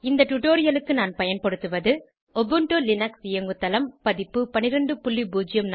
இந்த டுடோரியலுக்கு நான் பயன்படுத்துவது உபுண்டு லினக்ஸ் இயங்குதளம் பதிப்பு 1204